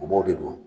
A b'o de don